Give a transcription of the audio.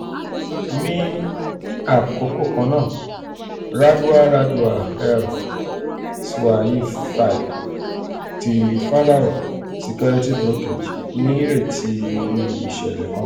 ni akoko kanna radwa radwa el-swaify ti pharos securities brokerage nireti iru iṣẹlẹ kanna.